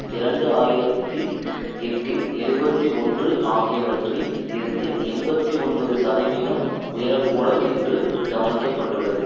இரண்டு ஆயிரத்தி எட்டுன் எழுபத்தி ஒன்று ஆகியவற்றில் இருந்து எண்பத்தி ஒன்பது சதவிகிதம் உயர கூடும் என்றும் கணிக்க பட்டுள்ளது